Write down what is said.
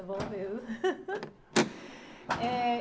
É bom mesmo. Eh...